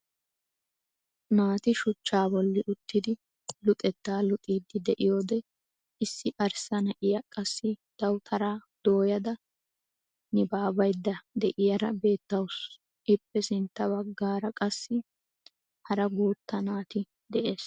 Naati shuchcha bolli uttidi luxettaa luxxiidi de'iyoode issi arssa na'iyaa qassi dawutaraa dooyada nibaabaydda de'iyaara beettawus. ippe sintta baggaara qassi hara guutta naati de'ees.